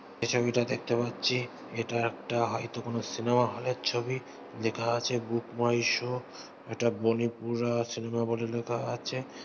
এই ছবিটা দেখতে পাচ্ছি এটা একটা হয়তো কোনো সিনেমা হলের ছবি লেখা আছে বুক মাই শো এটি বনিপুর সিনেমা হলে লেখা আছে।